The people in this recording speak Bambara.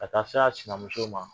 A taa s'a sinamuso ma.